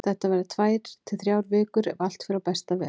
Þetta verða tvær til þrjár vikur ef allt fer á besta veg.